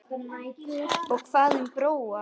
Og hvað um Bróa?